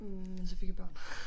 Hm men så fik jeg børn